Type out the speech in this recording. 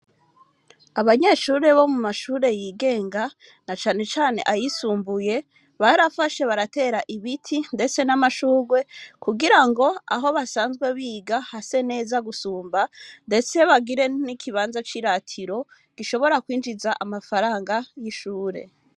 Abanyeshuri bo mu mashuri yigenga na cane cane ayisumbuye barafashe baratera ibiti ndetse n'amashurwe kugirango aho basanzwe biga hase neza gusumba ndetse bagire n'ikibanza ciratiro gishobora kwinjiza amafaranga y'ishuri.